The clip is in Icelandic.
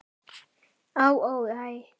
Á, ó, æ